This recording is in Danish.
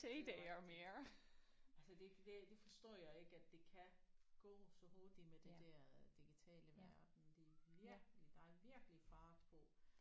Det er rigtigt. Altså det det forstår jeg ikke at det kan gå så hurtigt med det der digitale verden det er virkelig der er virkelig fart på